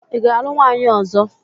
Ị ga-alụ nwaanyị ọzọ?